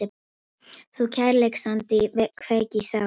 Þú kærleiksandi kveik í sál